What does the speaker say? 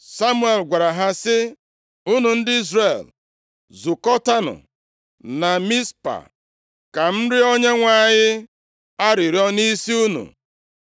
Samuel gwara ha sị, “Unu ndị Izrel, zukọtaanụ na Mizpa, ka m rịọọ Onyenwe anyị arịrịọ nʼisi unu.”